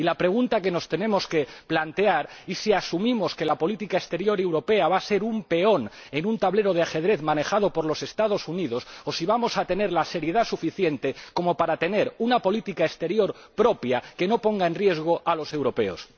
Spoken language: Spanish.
Y la pregunta que nos tenemos que plantear es si asumimos que la política exterior europea va a ser un peón en un tablero de ajedrez manejado por los Estados Unidos o si vamos a tener la seriedad suficiente como para tener una política exterior propia que no ponga en riesgo a los europeos.